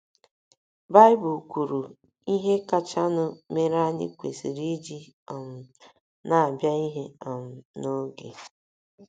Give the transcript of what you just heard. Baịbụl kwuru ihe kachanụ mere anyị kwesịrị iji um na - abịa ihe um n’oge.